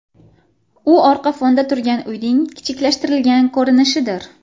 U orqa fonda turgan uyning kichiklashtirilgan ko‘rinishidir.